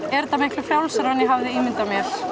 er þetta miklu frjálsara en ég hafði ímyndað mér